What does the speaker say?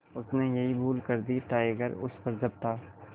उसने यही भूल कर दी टाइगर उस पर झपटा